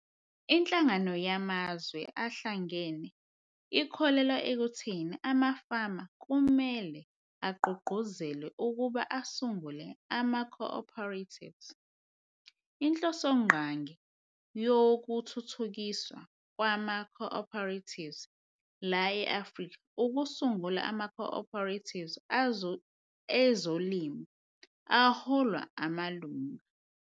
"INhlangano yaMazwe aHlangene ikholelwa ekutheni amafama kumele agqugquzelwe ukuba asungule amaco-operatives- Inhlosongqangi yokuthuthukiswa kwamaco-operatives lapha e-Afrika ukusungula amaco-operatives ezolimo aholwa ngamalunga."